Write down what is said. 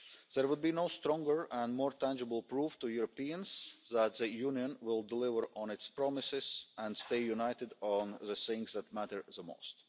There would be no stronger or more tangible proof to Europeans that the Union will deliver on its promises and stay united on the things that matter